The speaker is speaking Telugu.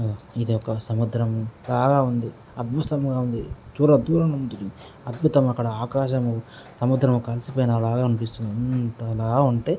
ఇది ఒక సముద్రము బాగా ఉంది. అద్భుతంగా ఉంది దూర దూరంగా ఉంది. అద్భుతం అక్కడ ఆకాశము సముద్రం ఒక అలసిపోయిన లాగా అనిపిస్తుంది. అంతలా ఉంటే --